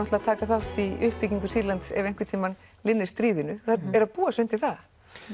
að taka þátt í uppbyggingu Sýrlands ef einhvern tímann linnir stríðinu þær eru að búa sig undir það